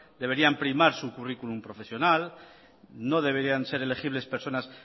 deberían primar su currículum profesional no deberían ser elegibles personas